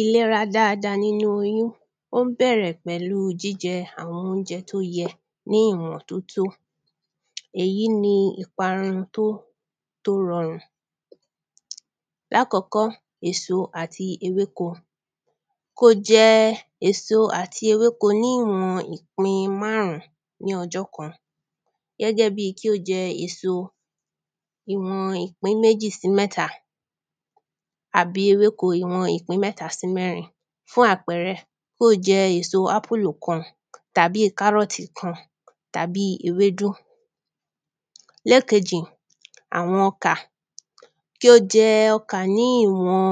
Ìlera dáada nínú oyún ó ń bẹ̀rẹ̀ pẹ̀lú jíjẹ àwọn óúnjẹ tó yẹ ní ìwọ̀n tó tó èyí ni ipa tó tó rọrùn. Lákòkó èso àti ewéko kó jẹ èso àti ewéko ní ìwọn ìpín márùn ún ní ọjọ́ kan gẹ́gẹ́ bí kí ó jẹ èso ìwọn ìpín méjì sí mẹ́ta àbí ewéko ìwọn ìpín mẹ́ta sí mẹ́rin. Fún àpẹrẹ mọ́ jẹ èso ápùlù kan tàbí e kárọ̀tì kã tàbí e ewédú. Lẹ́kejì àwọn ọkà kí ó jẹ ọkà ní ìwọ̀n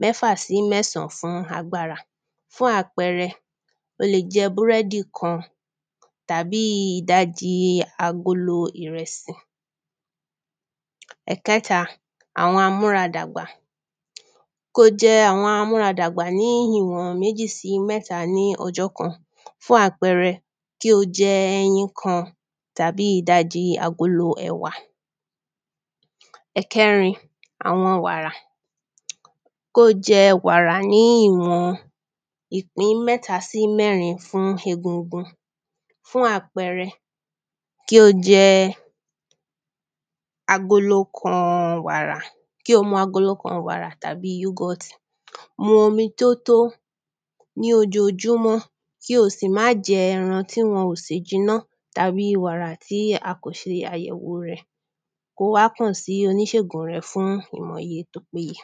mẹ́fà sí mẹ́sàn fún agbára o lè jẹ búrẹ́dì kan tàbí ìdaji agolo ìrẹsì. Ẹ̀kẹ́ta àwọn amúra dàgbà kó jẹ àwọn amúra dàgbà ní ìwọ̀n méjì sí mẹ́ta ní ọjọ́ kan fún àpẹrẹ kí o jẹ ẹyin kan tàbí ìdajì agolo ẹwà. Ẹ̀kerin àwọn wàrà kó jẹ wàrà ní ìwọn ìpín mẹ́ta sí mẹ́rin fún egungun fún àpẹrẹ kí ó jẹ agolo kan wàrà kí o mu agolo kan wàrà tàbí yúgọ̀tì. Mu omi tó tó ní ojoojúmọ́ kí o sì má jẹ ẹran tí wọn ò sè jiná tàbí wàrà tí a kò se àyẹ̀wò rẹ̀ kó wá kà sí oníṣègùn rẹ̀ fún òògùn tó péye.